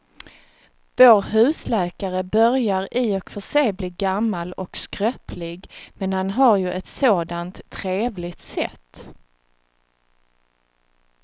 Vår husläkare börjar i och för sig bli gammal och skröplig, men han har ju ett sådant trevligt sätt!